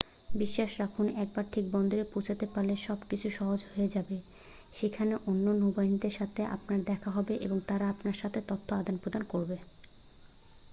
বিশ্বাস রাখুন একবার ঠিক বন্দরে পৌঁছতে পারলে সব কিছু সহজ হয়ে যাবে সেখানে অন্য নৌবাহীদের সাথে আপনার দেখা হবে এবং তারা আপনার সাথে তথ্য আদান-প্রদান করবে